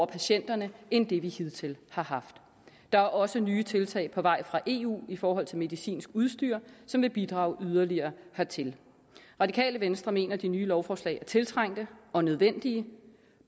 patienterne end det vi hidtil har haft der er også nye tiltag på vej fra eu i forhold til medicinsk udstyr som vil bidrage yderligere hertil det radikale venstre mener at de nye lovforslag er tiltrængte og nødvendige